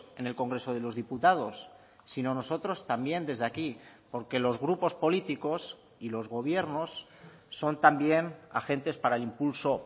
en el congreso de los diputados sino nosotros también desde aquí porque los grupos políticos y los gobiernos son también agentes para el impulso